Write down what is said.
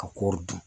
Ka kɔɔri dun